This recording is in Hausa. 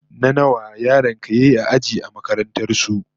What class position did your child come in his school?